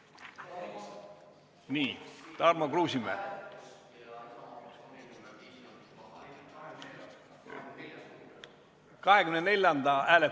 Nii, Tarmo Kruusimäe!